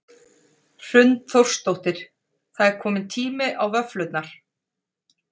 Hrund Þórsdóttir: Það er komin tími á vöfflurnar?